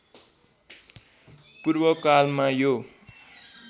पूर्व कालमा यो